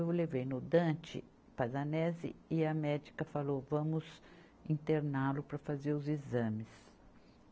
Eu o levei no Dante Pazzanese, e a médica falou, vamos interná-lo para fazer os exames.